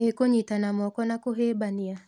Ĩ kũnyiitana moko na kũhĩmbania?